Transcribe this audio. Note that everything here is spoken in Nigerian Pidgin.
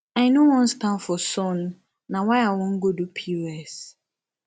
i know wan stand for sun na why i wan go do pos